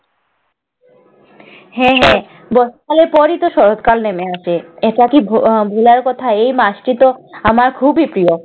হ্যাঁ হ্যাঁ। বর্ষাকালের পরই শরৎকাল নেমে আসে। এটা কি ভু~ ভুলার কথা? এই মাসটিতো আমার খুবই প্রিয়।